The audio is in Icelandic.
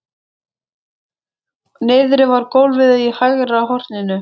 Niðri við gólfið í hægra horninu!